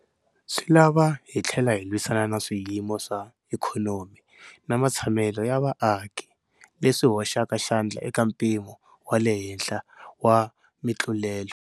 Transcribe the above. Swi lava hi tlhela hi lwisana na swiyimo swa ikhonomi na matshamelo ya vaaki leswi hoxaka xandla eka mpimo wa le henhla wa mitlulelo.